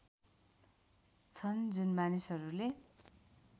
छन् जुन मानिसहरूले